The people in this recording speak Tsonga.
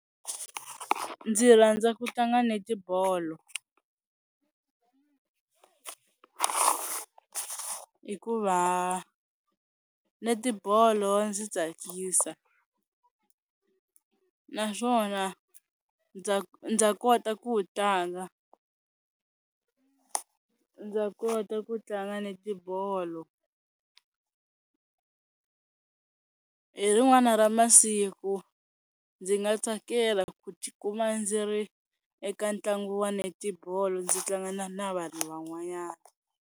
Ndzi rhandza ku tlanga netibolo hikuva netibolo ya ndzi tsakisa naswona ndza ndza kota ku wu tlanga, ndza kota ku tlanga netibolo. Hi rin'wana ra masiku ndzi nga tsakela ku ti kuma ndzi ri eka ntlangu wa netibolo ndzi tlanga na vanhu van'wanyana.